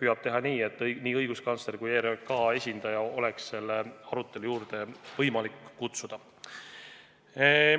püüab teha nii, et nii õiguskantsleri kui ERJK esindaja oleks selle arutelu juurde võimalik kutsuda.